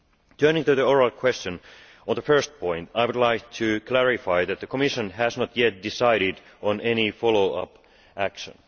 Turning to the oral question, on the first point I would like to clarify that the Commission has not yet decided on any follow up action.